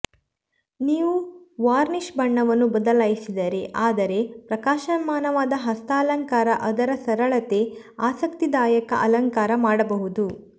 ನೀವು ವಾರ್ನಿಷ್ ಬಣ್ಣವನ್ನು ಬದಲಾಯಿಸಿದರೆ ಆದರೆ ಪ್ರಕಾಶಮಾನವಾದ ಹಸ್ತಾಲಂಕಾರ ಅದರ ಸರಳತೆ ಆಸಕ್ತಿದಾಯಕ ಅಲಂಕಾರ ಮಾಡಬಹುದು